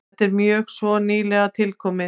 Þetta er mjög svo nýlega tilkomið.